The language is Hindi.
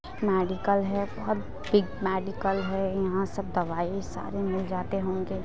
मेडिकल है बहुत बिग मेडिकल है यहाँ सब दवाई सारे मिल जाते होंगे।